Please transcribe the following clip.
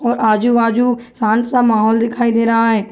और आजु-बाजु शांत सा माहौल दिखाई दे रहा हैं।